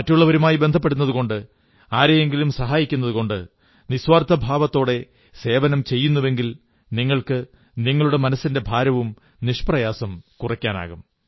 മറ്റുള്ളവരുമായി ബന്ധപ്പെടുന്നതുകൊണ്ട് ആരെയെങ്കിലും സഹായിക്കുന്നതുകൊണ്ട് നിസ്വാർഥഭാവത്തോടെ സേവനം ചെയ്യുന്നുവെങ്കിൽ നിങ്ങൾക്ക് നിങ്ങളുടെ മനസ്സിന്റെ ഭാരവും നിഷ്പ്രയാസം കുറയ്ക്കാനാകും